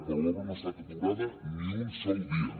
però l’obra no ha estat aturada ni un sol dia